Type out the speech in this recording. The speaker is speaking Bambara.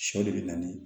Sɔ de bɛ na ni